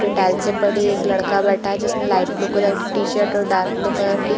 एक लड़का बैठा है जिसने लाइट ब्लू कलर की टी-शर्ट और डार्क ब्लू कलर की --